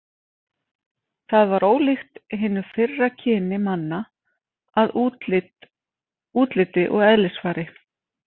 Það var ólíkt hinu fyrra kyni manna að útliti og eðlisfari.